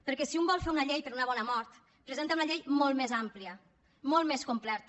perquè si un vol fer una llei per a una bona mort presenta una llei molt més àmplia molt més completa